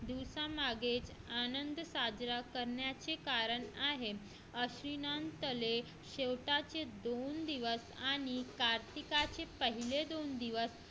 दिवसा मागे आनंद साजरा करण्याचे कारण आहे ती शेवटचे दोन दिवस आणि कार्तिकाची पहिले दोन दिवस